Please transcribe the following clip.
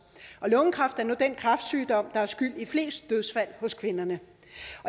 og lungekræft er nu den kræftsygdom der er skyld i flest dødsfald hos kvinderne